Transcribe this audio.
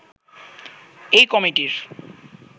এই কমিটির